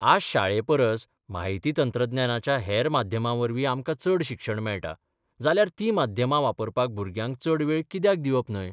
आज शाळेपरस म्हायती तंत्रज्ञानाच्या हेर माध्यमांवरवीं आमकां चड शिक्षण मेळटा जाल्यार तीं माध्यमां वापरपाक भुरग्यांक चड वेळ कित्याक दिवप न्हय?